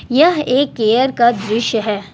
यह एक केयर का दृश्य है।